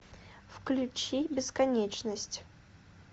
включи бесконечность